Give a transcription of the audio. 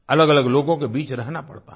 अलगअलग लोगों के बीच रहना पड़ता है